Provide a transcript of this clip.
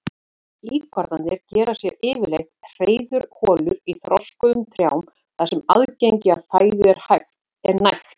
Íkornarnir gera sér yfirleitt hreiðurholur í þroskuðum trjám þar sem aðgengi að fæðu er nægt.